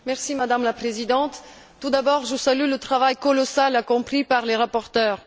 Madame la Présidente, tout d'abord je salue le travail colossal accompli par les rapporteurs.